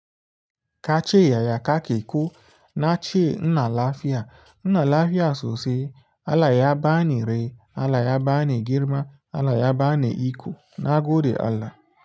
Ka ci yaya ka ke ko na ci nna lafiya. Ina lafiya sosai, Allah ya bani rai, Allah ya bani girma, Allah ya bani iko, nagode Allah.